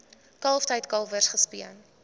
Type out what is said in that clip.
kalftyd kalwers gespeen